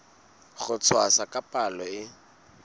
ho tshwasa ka palo e